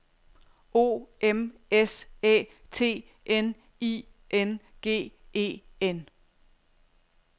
O M S Æ T N I N G E N